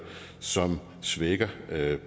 som svækker